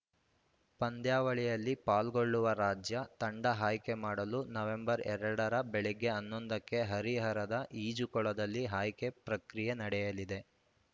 ಪಂದ್ಯಾವಳಿಯಲ್ಲಿ ಪಾಲ್ಗೊಳ್ಳುವ ರಾಜ್ಯ ತಂಡ ಆಯ್ಕೆ ಮಾಡಲು ನವೆಂಬರ್ ಎರಡ ರ ಬೆಳಿಗ್ಗೆ ಹನ್ನೊಂದುಕ್ಕೆ ಹರಿಹರದ ಈಜುಕೊಳದಲ್ಲಿ ಆಯ್ಕೆ ಪ್ರಕ್ರಿಯೆ ನಡೆಯಲಿದೆ